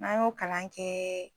An y'o kalan kɛ